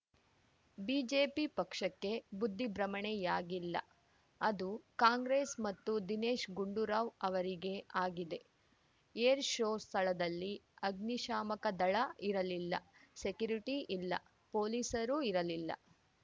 BJP ಪಕ್ಷಕ್ಕೆ ಬುದ್ಧಿಭ್ರಮಣೆಯಾಗಿಲ್ಲ ಅದು ಕಾಂಗ್ರೆಸ್‌ ಮತ್ತು ದಿನೇಶ್‌ ಗುಂಡೂರಾವ್‌ ಅವರಿಗೆ ಆಗಿದೆ ಏರ್‌ ಶೋ ಸ್ಥಳದಲ್ಲಿ ಅಗ್ನಿಶಾಮಕದಳ ಇರಲಿಲ್ಲ ಸೆಕ್ಯುರಿಟಿ ಇಲ್ಲ ಪೊಲೀಸರು ಇರಲಿಲ್ಲ